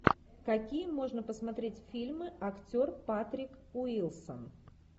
какие можно посмотреть фильмы актер патрик уилсон